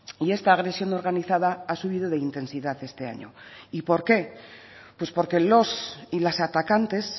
y esta agresión organizada ha subido de intensidad este año y por qué pues porque los y las atacantes